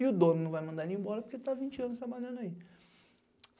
E o dono não vai mandar ele embora porque tá há vinte anos trabalhando aí.